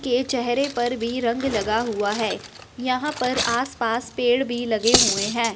के चेहरे पर भी रंग लगा हुआ है यहां पर आस पास पेड़ भी लगे हुए है।